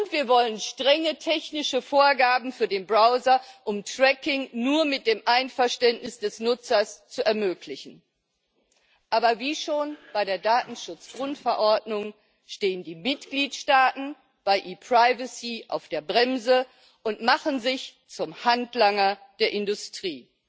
Und wir wollen strenge technische Vorgaben für den Browser, um Tracking nur mit dem Einverständnis des Nutzers zu ermöglichen. Aber wie schon bei der Datenschutzgrundverordnung stehen die Mitgliedstaaten bei ePrivacy auf der Bremse und machen sich zum Handlanger der Industrie.